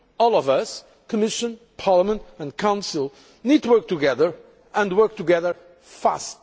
own all of us, Commission, Parliament and Council, need to work together, and work together fast.